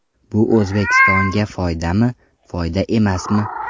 Bu O‘zbekistonga foydami, foyda emasmi?